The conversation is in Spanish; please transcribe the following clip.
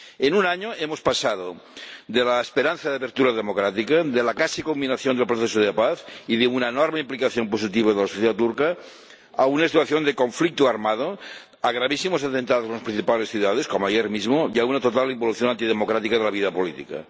En un año hemos pasado de la esperanza de apertura democrática, de la casi culminación del proceso de paz y de una enorme implicación positiva de la sociedad turca a una situación de conflicto armado, a gravísimos atentados en las principales ciudades, como ayer mismo, y a una total involución antidemocrática de la vida política.